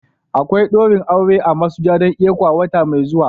Akwai daurin aure a masujadan ecwa wata mai zuwa.